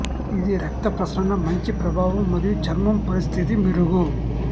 ఇది రక్త ప్రసరణ మంచి ప్రభావం మరియు చర్మం పరిస్థితి మెరుగు